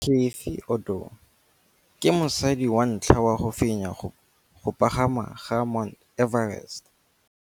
Cathy Odowd ke mosadi wa ntlha wa go fenya go pagama ga Mt Everest.